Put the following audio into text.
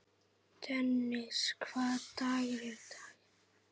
Dennis, hvaða dagur er í dag?